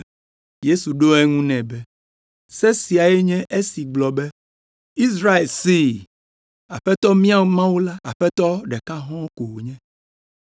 Yesu ɖo eŋu nɛ be, “Se siae nye esi gblɔ be, ‘Israel see! Aƒetɔ mía Mawu la, Aƒetɔ ɖeka hɔ̃ɔ ko wònye.